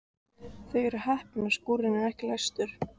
Þau eru heppin að skúrinn er ekki læstur.